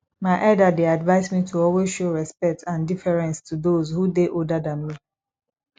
my elder dey advise me to always show respect and deference to those who dey older than me